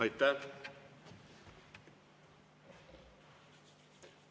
Aitäh!